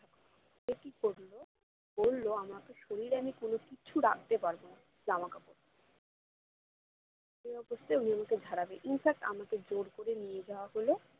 বললো আমাকে শরীরে কোনো কিছু রাখতে পারবো না জামাকাপড় এই অবস্থায় উনি আমাকে ঝাড়াবে infact আমাকে জোর করে নিয়ে যাওয়া হলো